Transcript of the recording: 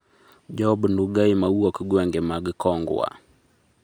Job Ndugai ma wuok gwenge mag kongwa